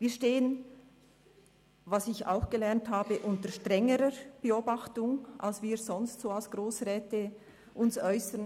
Wir stehen, was ich auch gelernt habe, unter strengerer Beobachtung, als wenn wir uns sonst als Grossräte äussern.